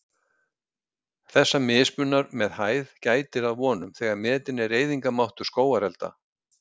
Þessa mismunar með hæð gætir að vonum, þegar metinn er eyðingarmáttur skógarelda.